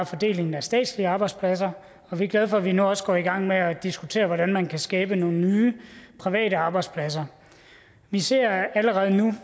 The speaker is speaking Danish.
fordelingen af statslige arbejdspladser rigtig vi er glade for at vi nu også går i gang med at diskutere hvordan man kan skabe nogle nye private arbejdspladser vi ser allerede nu